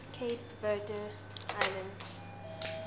cape verde islands